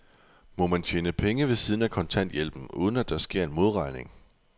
Må man tjene penge ved siden af kontanthjælpen, uden at der sker en modregning?